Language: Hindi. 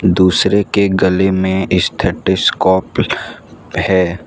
दूसरे के गले में स्टेटस कोप हैं।